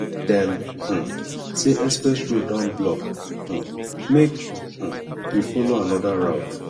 dem um say express road don block um make um we folo another route